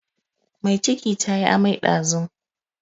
Mai ciki ta yi amai ɗazun.